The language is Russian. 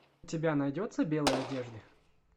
у тебя найдется белые одежды